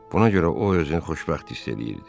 Buna görə o özünü xoşbəxt hiss eləyirdi.